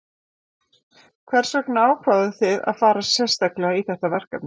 Hvers vegna ákváðu þið að fara sérstaklega í þetta verkefni?